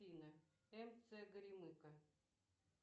афина мц горемыка